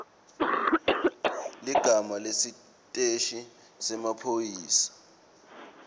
ligama lesiteshi semaphoyisa